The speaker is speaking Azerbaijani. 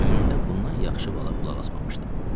Ömrümdə bundan yaxşı vala qulaq asmamışdım.